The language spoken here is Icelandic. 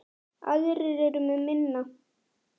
Aðrir eru með minna.